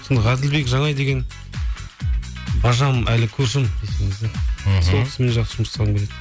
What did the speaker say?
ғаділбек жанай деген бажам әлі көршім мхм сол кісімен жақсы жұмыс жасағым келеді